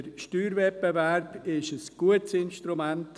Der Steuerwettbewerb ist ein gutes Instrument.